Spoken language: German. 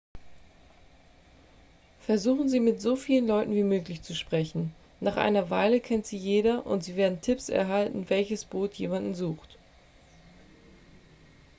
versuchen sie mit so vielen leuten wie möglich zu sprechen nach einer weile kennt sie jeder und sie werden tipps erhalten welches boot jemanden sucht